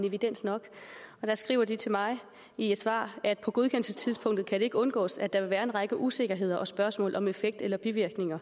evidens nok og der skriver de til mig i et svar at på godkendelsestidspunktet kan det ikke undgås at der vil være en række usikkerheder og spørgsmål om effekt eller bivirkninger